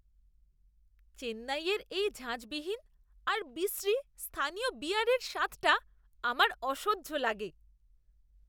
চেন্নাইয়ের এই ঝাঁঝবিহীন আর বিশ্রী স্থানীয় বিয়ারের স্বাদটা আমার অসহ্য লাগে!